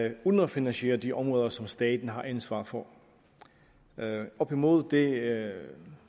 et underfinansieret de områder som staten har ansvaret for imod det